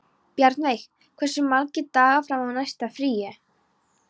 Bjarnveig, hversu margir dagar fram að næsta fríi?